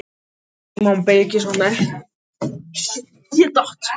Símon Birgisson: Hvert eruð þið að ganga?